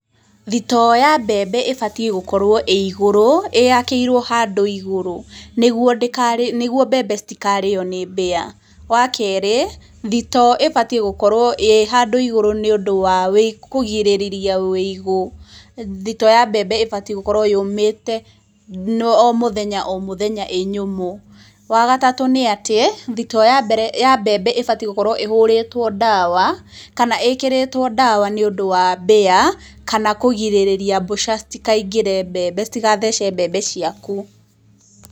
Thitoo ya mbembe ĩbatiĩ gũkorwo ĩ igũrũ, yakĩirwo handũ igũrũ, nĩguo mbembe citikarĩo nĩ mbĩa, wa kerĩ, thitoo ĩbatiĩ gũkorwo ĩ handũ igũrũ nĩ ũndũ wa kũgirĩrĩria wĩigũ, thitoo ya mbembe ĩbatiĩ gũkorwo yũmĩte o mũthenya o mũthenya ĩ nyũmũ. Wa gatatũ nĩ atĩ, thitoo ya mbembe ĩbatiĩ gũkorwo ĩhũrĩtwo ndawa, kana ĩkĩrĩtwo ndawa, nĩ ũndũ wa mbĩa, kana kũgirĩrĩria mbũca citikaingĩre mbembe, citigathece mbembe ciaku.